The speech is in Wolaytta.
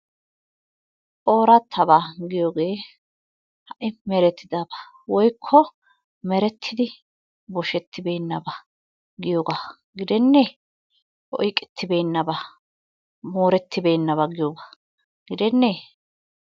Oorattabaa giyogee ha"i merettidaba woyikko merttidi boshettibeennaba.. giyogaa gidenne? Oyiqettibeennaba moorettibeennaba giyogaa gidennee?